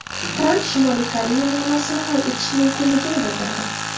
Tramp Shimoliy Koreya muammosini hal etish mumkinligini bildirdi.